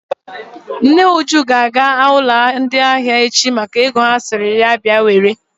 Nne Ngozi ga-aga ụlọ ndị ahịa echi maka ego ha sịrị ya bịa were.